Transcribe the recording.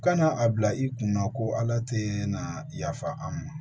Kana a bila i kunna ko ala tɛ na yafa an ma